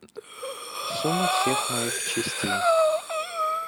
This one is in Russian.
сумма всех моих частей